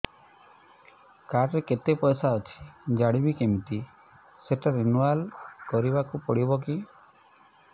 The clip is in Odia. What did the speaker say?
କାର୍ଡ ରେ କେତେ ପଇସା ଅଛି ଜାଣିବି କିମିତି ସେଟା ରିନୁଆଲ କରିବାକୁ ପଡ଼ିବ କି